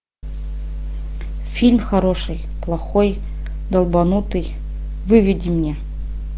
фильм хороший плохой долбанутый выведи мне